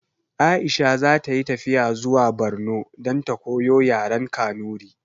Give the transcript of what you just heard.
Aisha zata yi tafiya zuwa barno dan ta koyo yaren kanuri